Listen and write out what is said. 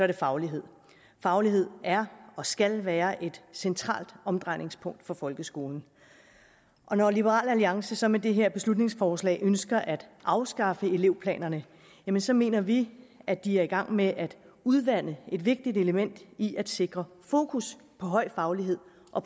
det faglighed faglighed er og skal være et centralt omdrejningspunkt for folkeskolen når liberal alliance så med det her beslutningsforslag ønsker at afskaffe elevplanerne så mener vi at de er i gang med at udvande et vigtigt element i at sikre fokus på høj faglighed og